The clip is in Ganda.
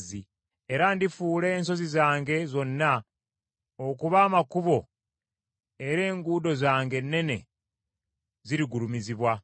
Era ndifuula ensozi zange zonna okuba amakubo era enguudo zange ennene zirigulumizibwa.